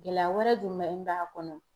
Gɛlɛya wɛrɛ jumɛn b'a kɔnɔ